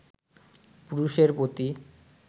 পুরুষের প্রতি